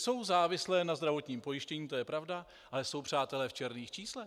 Jsou závislé na zdravotním pojištění, to je pravda, ale jsou, přátelé, v černých číslech.